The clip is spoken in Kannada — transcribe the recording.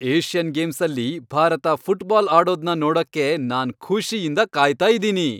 ಏಷ್ಯನ್ ಗೇಮ್ಸಲ್ಲಿ ಭಾರತ ಫುಟ್ಬಾಲ್ ಆಡೋದ್ನ ನೋಡಕ್ಕೆ ನಾನ್ ಖುಷಿಯಿಂದ ಕಾಯ್ತಾ ಇದೀನಿ.